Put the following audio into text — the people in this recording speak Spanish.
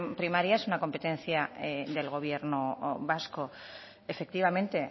primaria es una competencia del gobierno vasco efectivamente